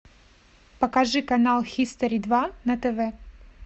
покажи канал хистори два на тв